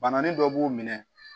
Bananin dɔ b'u minɛ